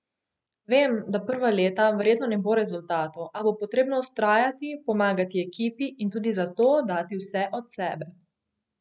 Vem, da prva leta verjetno ne bo rezultatov, a bo potrebno vztrajati, pomagati ekipi in tudi za to dati vse od sebe.